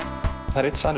það er einn